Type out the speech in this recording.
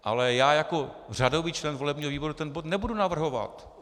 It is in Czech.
Ale já jako řadový člen volebního výboru ten bod nebudu navrhovat.